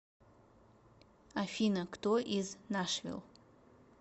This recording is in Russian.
афина кто из нашвилл